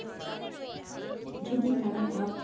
যদি তারা ভাব ,